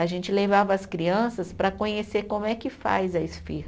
A gente levava as crianças para conhecer como é que faz a esfirra.